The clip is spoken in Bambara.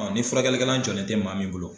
furakɛlikɛlan jɔlen tɛ maa min bolo